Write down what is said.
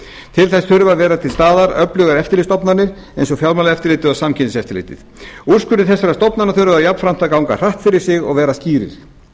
til þess þurfa að vera til staðar öflugar eftirlitsstofnanir eins og fjármálaeftirlitið og samkeppniseftirlitið úrskurðir þessara stofnana þurfa jafnframt að ganga hratt fyrir sig og vera skýrir slíkar stofnanir